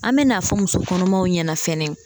An bɛ n'a fɔ muso kɔnɔmaw ɲɛna fɛnɛ